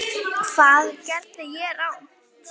Hvað gerði ég rangt?